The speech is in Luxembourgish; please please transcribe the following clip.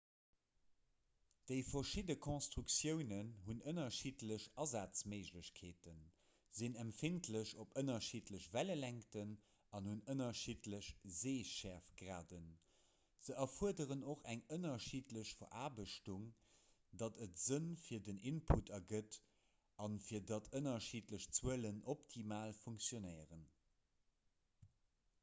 déi verschidde konstruktiounen hunn ënnerschiddlech asazméiglechkeeten sinn empfindlech op ënnerschiddlech wellelängten an hunn ënnerschiddlech seeschäerftgraden se erfuerderen och eng ënnerschiddlech veraarbechtung datt et sënn fir den input ergëtt an fir datt ënnerschiddlech zuelen optimal funktionéieren